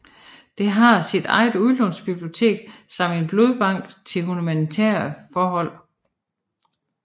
Det har sit eget udlånsbibliotek samt en blodbank til humanitære formål